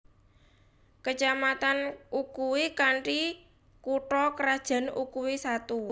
Kecamatan Ukui kanthi kutha krajan Ukui Satu